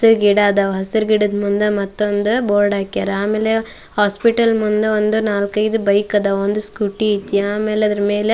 ಮತ್ತ ಗಿಡ ಅದಾವ ಹಸಿರ ಗಿಡದ ಮುಂದ ಮತ್ತೊಂದ ಬೋರ್ಡ್ ಹಾಕ್ಯಾರ. ಆಮೇಲೆ ಹಾಸ್ಪಿಟಲ್ ಮುಂದ ಒಂದು ನಾಲ್ಕೈದು ಬೈಕ್ ಅದಾವ. ಒಂದು ಸ್ಕೂಟಿ ಐತಿ ಆಮೇಲೆ ಅದರ ಮೇಲೆ--